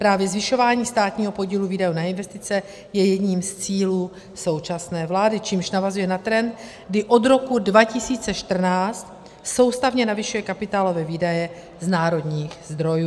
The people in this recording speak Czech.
Právě zvyšování státního podílu výdajů na investice je jedním z cílů současné vlády, čímž navazuje na trend, kdy od roku 2014 soustavně navyšuje kapitálové výdaje z národních zdrojů.